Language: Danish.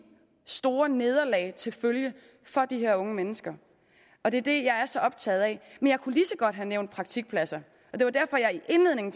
store nederlag til følge for de her unge mennesker og det er det jeg er så optaget af men jeg kunne lige så godt have nævnt praktikpladser og det var derfor jeg i indledningen